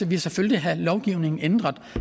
vi selvfølgelig have lovgivningen ændret